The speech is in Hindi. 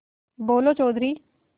बोलो चौधरी